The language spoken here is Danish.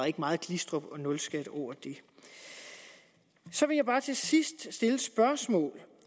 ikke meget glistrup eller nulskat over det så vil jeg bare til sidst stille et spørgsmål